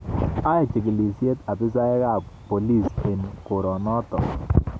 Ae chikilisyet abisaiyek ab bolis eng korenoto